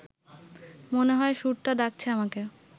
মনে হয় সুরটা ডাকছে আমাকে